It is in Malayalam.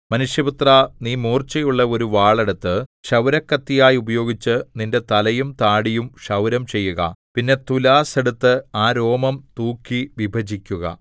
മനുഷ്യപുത്രാ നീ മൂർച്ചയുള്ള ഒരു വാൾ എടുത്ത് ക്ഷൗരക്കത്തിയായി ഉപയോഗിച്ച് നിന്റെ തലയും താടിയും ക്ഷൗരം ചെയ്യുക പിന്നെ തുലാസ്സ് എടുത്ത് ആ രോമം തൂക്കി വിഭജിക്കുക